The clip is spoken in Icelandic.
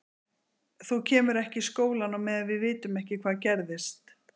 Þú kemur ekki í skólann á meðan við vitum ekki hvað gerðist.